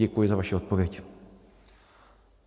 Děkuji za vaši odpověď.